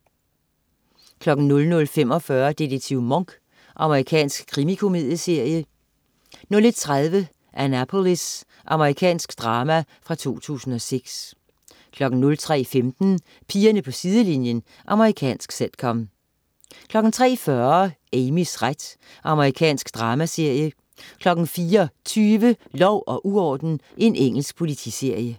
00.45 Detektiv Monk. Amerikansk krimikomedieserie 01.30 Annapolis. Amerikansk drama fra 2006 03.15 Pigerne på sidelinjen. Amerikansk sitcom 03.40 Amys ret. Amerikansk dramaserie 04.20 Lov og uorden. Engelsk politiserie